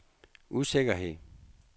usikkerhed